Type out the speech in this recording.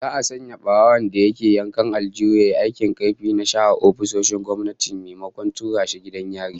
Za'a sanya barawon da ke yankan aljihun yayi aikin karfi na share ofisoshin gwamnati maimakon tura shi gidan yari